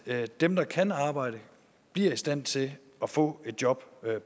at dem der kan arbejde bliver i stand til at få et job